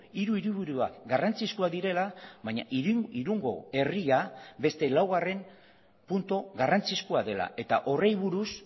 hiru hiriburuak garrantzizkoak direla baina irungo herria beste laugarren puntu garrantzizkoa dela eta horri buruz